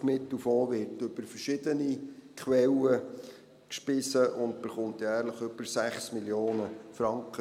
Der Suchtmittelfonds wird aus verschiedenen Quellen gespeist und erhält jährlich über 6 Mio. Franken;